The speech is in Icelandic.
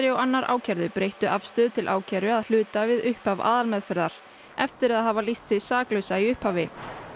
og annar ákærðu breyttu afstöðu til ákæru að hluta við upphaf aðalmeðferðar eftir að hafa lýst sig saklausa í upphafi